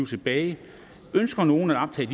tilbage ønsker nogen at optage